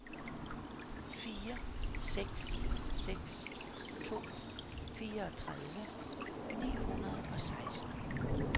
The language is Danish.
fire seks seks to fireogtredive ni hundrede og seksten